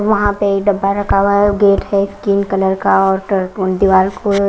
वहां पे डब्बा रखा हुआ है गेट है स्किन कलर का और दीवाल को--